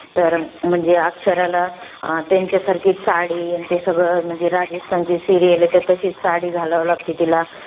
तर अं म्हणजे, अक्षराला त्यांच्यासारखीच साडी, अन ते सगळं, म्हणजे राजस्थानची serial आहे, तर तशीच साडी घालावी लागते तिला.